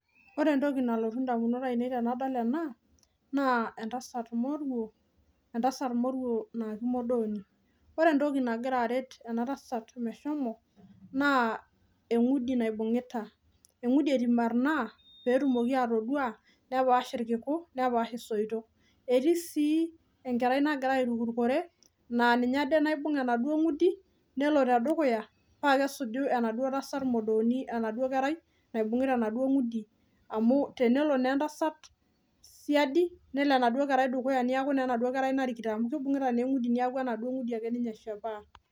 Ore entoki nalotu ndamunot ainei tenadol ena naa entasat Morio naa kimodooni, ore entoki nagira aret ninye meshomo naa engudi naibungita pee etumoki atapaashie irkiku nepaash sii isoito, netii sii enkerai nagira autaa metaa ninye naituruk pee etumoki enaduo tasat modoooni atusuju.